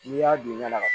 N'i y'a don na la